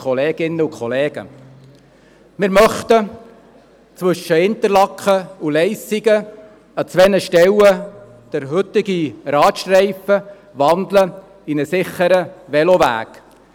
Wir möchten zwischen Interlaken und Leissigen an zwei Stellen den heutigen Radstreifen in einen sicheren Veloweg umwandeln.